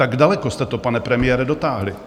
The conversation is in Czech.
Tak daleko jste to, pane premiére, dotáhli.